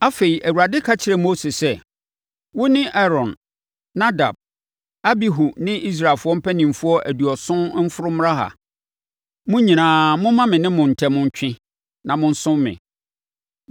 Afei, Awurade ka kyerɛɛ Mose sɛ, “Wo ne Aaron, Nadab, Abihu ne Israelfoɔ mpanimfoɔ aduɔson mforo mmra ha. Mo nyinaa, momma me ne mo ntam ntwe na monsom me.